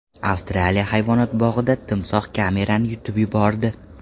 Avstraliya hayvonot bog‘ida timsoh kamerani yutib yubordi.